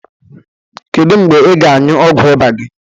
Kedụ mgbe ị ga-añyu ọgwu ịba gi?